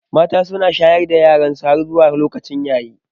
Mata su na shayar da yaransu har zuwa lokacin yayewa.